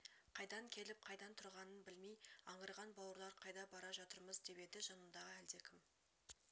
қайдан келіп қайдан тұрғанын білмей аңырған бауырлар қайда бара жатырмыз деп еді жанындағы әлдекім